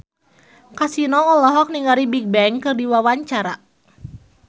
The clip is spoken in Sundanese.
Kasino olohok ningali Bigbang keur diwawancara